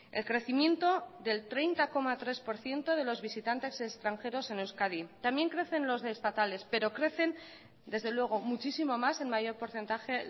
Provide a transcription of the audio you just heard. el crecimiento del treinta coma tres por ciento de los visitantes extranjeros en euskadi también crecen los estatales pero crecen desde luego muchísimo más en mayor porcentaje